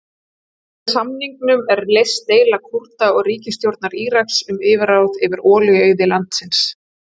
Með samningnum er leyst deila Kúrda og ríkisstjórnar Íraks um yfirráð yfir olíuauði landsins.